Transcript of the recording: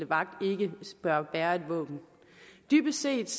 vagten ikke bør bære et våben dybest set